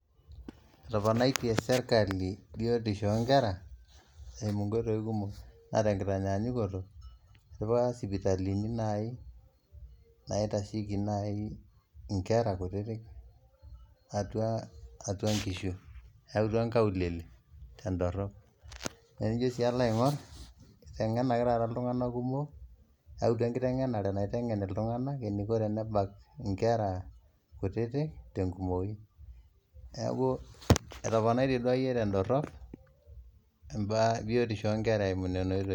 Etoponaitie sirkali biotisho o nkera eimu nkoitoi kumok, naa tenkitanyanyukuto idipa sipitalini nai naitasheki nai inkera kutitik atua nkishu, eautua nkaulele tendorop. Naa enijo sii ilo aing'or, iteng'enenaki taat iltung'anak kumok eyautua ekiteng'enare naitengen itung'anak eniko tenebak inkera kutitik te nkumoi. Neeku etoponaitie duake iye tendorop biotisho o nkera eimu nena oitoi.